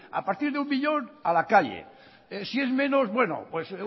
a partir de un millón a la calle si es menos bueno pues